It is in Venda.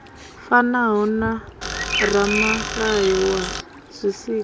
fanaho na ramulayo wa zwisikwa